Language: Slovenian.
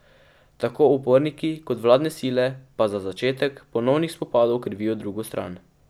Tako uporniki kot vladne sile pa za začetek ponovnih spopadov krivijo drugo stran.